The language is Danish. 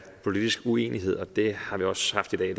politisk uenighed og det har vi også haft i dag